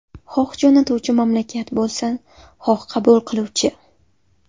Xoh jo‘natuvchi mamlakat bo‘lsin, xoh qabul qiluvchi.